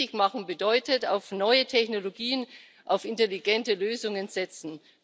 Richtig machen bedeutet auf neue Technologien, auf intelligente Lösungen setzen.